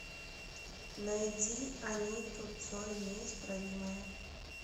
найди аниту цой неисправимая